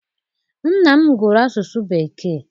Nna m gụrụ Asụsụ Bekee.